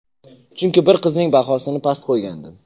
Chunki bir qizning bahosini past qo‘ygandim.